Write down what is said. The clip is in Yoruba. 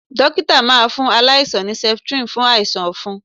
Dókítà máa fún aláìsàn ní septrin fún àìsàn ọ̀fun.